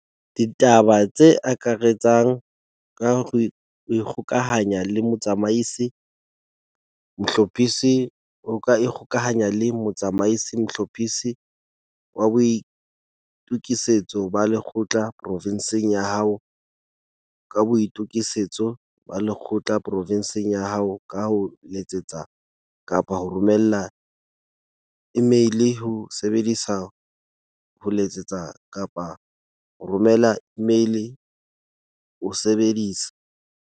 DITABA TSE AKARETSANGO ka ikgokahanya le Motsamaisi-Mohlophisi wa O ka ikgokahanya le Motsamaisi-Mohlophisi wa Boitokisetso ba Lekgotla porofinsing ya hao ka Boitokisetso ba Lekgotla porofinsing ya hao ka ho letsetsa kapa ho romela imeile o sebedisa ho letsetsa kapa ho romela imeile o sebedisa